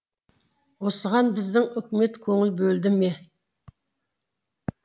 осыған біздің үкімет көңіл бөлді ме